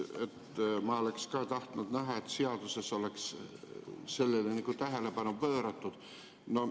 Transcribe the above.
Ma oleks ka tahtnud näha, et seaduses oleks sellele tähelepanu pööratud.